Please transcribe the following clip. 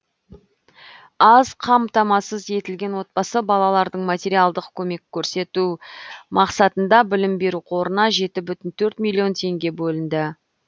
аз қамтамасыз етілген отбасы балалардың материалдық көмек көрсету мақсатында білім беру қорына жеті бүтін төрт миллион теңге бөлінді